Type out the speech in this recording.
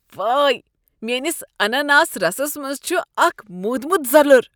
وٲے! میٛٲنس اناناس رسس منٛز چھ اکھ مودمت زلُر۔